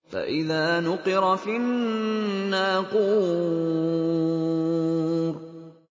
فَإِذَا نُقِرَ فِي النَّاقُورِ